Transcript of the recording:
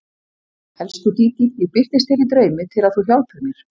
Elsku Dídí, ég birtist þér í draumi til að þú hjálpir mér.